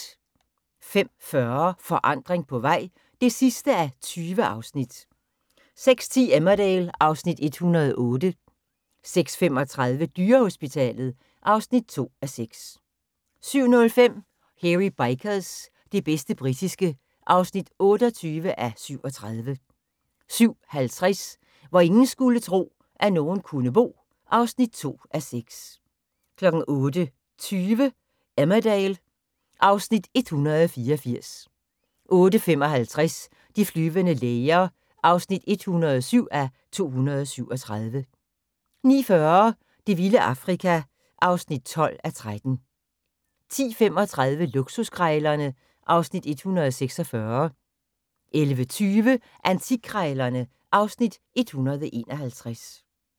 05:40: Forandring på vej (20:20) 06:10: Emmerdale (Afs. 108) 06:35: Dyrehospitalet (2:6) 07:05: Hairy Bikers – det bedste britiske (28:37) 07:50: Hvor ingen skulle tro, at nogen kunne bo (2:6) 08:20: Emmerdale (Afs. 184) 08:55: De flyvende læger (107:237) 09:40: Det vilde Afrika (12:13) 10:35: Luksuskrejlerne (Afs. 146) 11:20: Antikkrejlerne (Afs. 151)